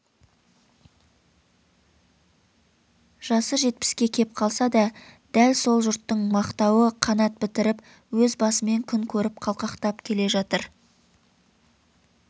жасы жетпіске кеп қалса да дәл сол жұрттың мақтауы қанат бітіріп өз басымен күн көріп қалтақтап келе жатыр